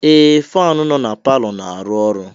Ee! Faanụ nọ na palọ na-arụ ọrụ.